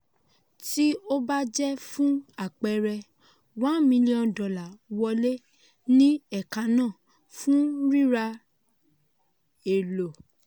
tí ó bá jẹ́ fún àpẹẹrẹ one million dolar wọlé ní ẹ̀ka náà fún rírà èlò.